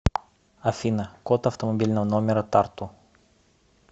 афина код автомобильного номера тарту